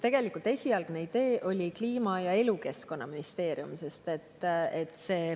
Tegelikult esialgne idee oli teha Kliima‑ ja Elukeskkonnaministeerium.